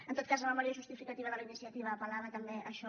en tot cas la memòria justificativa de la iniciativa apel·lava també a això